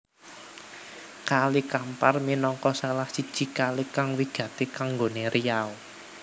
Kali Kampar minangka salah siji kali kang wigati kanggoné Riau